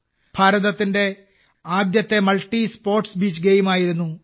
ഭാരതത്തിന്റെ ആദ്യത്തെ multi sports beach ഗെയിമായിരുന്നു ഇത്